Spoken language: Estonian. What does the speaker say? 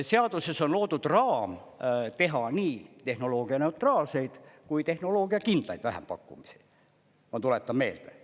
Seaduses on loodud raam teha nii tehnoloogianeutraalseid kui tehnoloogiakindlaid vähempakkumisi, ma tuletan meelde.